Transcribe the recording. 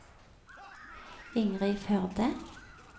Ingrid Førde